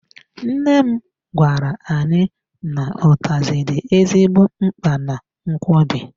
Nne m gwara anyị n'utazi dị ezigbo mkpa na nkwobi.